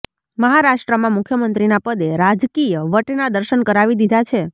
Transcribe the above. મહારાષ્ટ્રમાં મુખ્યમંત્રીના પદે રાજકીય વટના દર્શન કરાવી દીધા છે